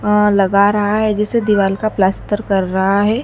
हां लग रहा है जिसे दीवाल का पलास्तर कर रहा है।